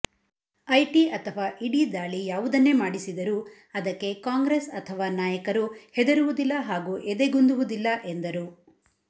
IT ಅಥವಾ ED ದಾಳಿ ಯಾವುದನ್ನೆ ಮಾಡಿಸಿದರೂ ಅದಕ್ಕೆ ಕಾಂಗ್ರೆಸ್ ಅಥವಾ ನಾಯಕರು ಹೆದರುವುದಿಲ್ಲ ಹಾಗೂ ಎದೆಗುಂದುವುದಿಲ್ಲ ಎಂದರು